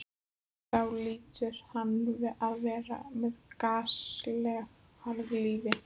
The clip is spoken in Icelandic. Þá hlýtur hann að vera með gasalegt harðlífi.